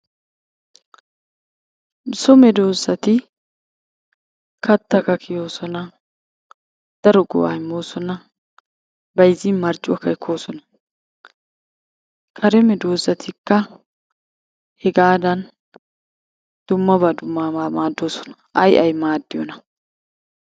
So medossati kattakka kiyoosona daro go'aa immoosona. Bayizzin marccuwakka ekkoosona. Kare medoossatikka hegaadan dummabaa dummabaa maaddoosona. Ayi ayi maaddiyonaa?